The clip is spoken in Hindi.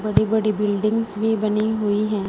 बड़ी बड़ी बिल्डिंगस् भी बनी हुई हैं।